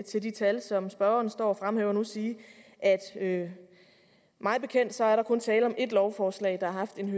til de tal som spørgeren står og fremhæver nu sige at mig bekendt er der kun tale om ét lovforslag der har haft en